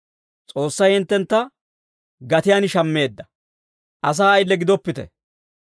S'oossay hinttentta gatiyaan shammeedda. Asaa ayile gidoppite.